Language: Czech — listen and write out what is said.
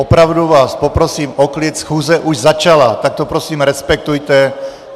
Opravdu vás poprosím o klid, schůze už začala, tak to prosím respektujte.